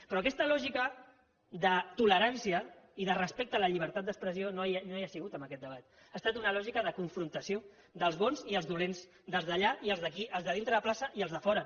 però aquesta lògica de tolerància i de respecte a la llibertat d’expressió no hi ha sigut en aquest debat ha estat una lògica de confrontació dels bons i els dolents dels d’allà i els d’aquí els de dintre la plaça i els de fora